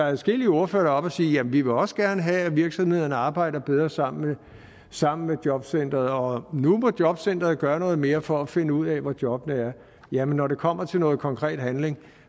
adskillige ordførere oppe og sige jamen vi vil også gerne have at virksomhederne arbejder bedre sammen sammen med jobcentrene og at nu må jobcentrene gøre noget mere for at finde ud af hvor jobbene er men når det kommer til noget konkret handling